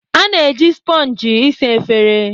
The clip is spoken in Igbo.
A na-eji spongi ịsa efere